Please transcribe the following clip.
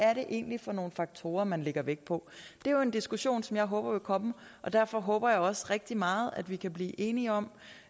er det egentlig for nogle faktorer man lægger vægt på det er jo en diskussion som jeg håber vil komme og derfor håber jeg også rigtig meget at vi herinde kan blive enige om